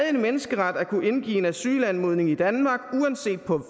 en menneskeret at kunne indgive en asylanmodning i danmark uanset på